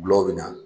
Gulɔ bɛ na